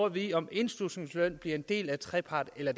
at vide om indslusningsløn bliver en del af trepart eller